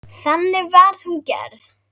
Þannig var hún gerð.